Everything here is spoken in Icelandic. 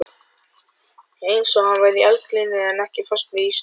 Einsog hann væri í eldlínunni en ekki fastur í ísnum.